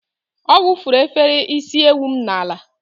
Ọ wụfuru efere isi ewu m n'ala.